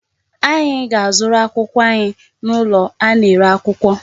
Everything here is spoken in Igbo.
Anyị ga-azụrụ akwụkwọ anyị n'ụlọ a na-ere akwụkwọ.